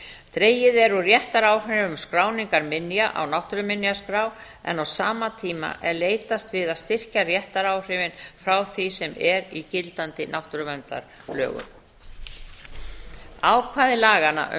dregið er úr réttaráhrifum skráningar minja á náttúruminjaskrá en á sama tíma er leitast við að styrkja réttaráhrifin frá því sem er í gildandi náttúruverndarlögum ákvæði laganna um